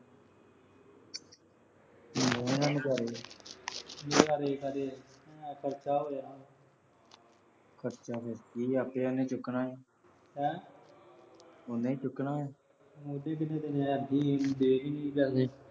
ਲਏਂ ਗਾ ਨਜ਼ਾਰੇ। ਨਜ਼ਾਰੇ ਕਾਹਦੇ। ਮੇਰਾ ਖਰਚਾ ਹੋ ਜਾਣਾ ਗਾ । ਖਰਚਾ ਤਾਂ ਆਪੇ ਉਹਨੇ ਚੁੱਕਣਾ ਆ। ਹੈਂ। ਉਹਨੇ ਈ ਚੁਕਣਾ ਆ